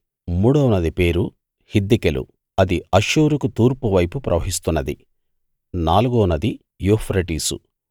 మూడో నది పేరు హిద్దెకెలు అది అష్షూరుకు తూర్పు వైపు ప్రవహిస్తున్నది నాలుగో నది యూఫ్రటీసు